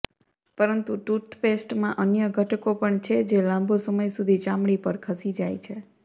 પરંતુ ટૂથપેસ્ટમાં અન્ય ઘટકો પણ છે જે લાંબો સમય સુધી ચામડી પર ખસી જાય છે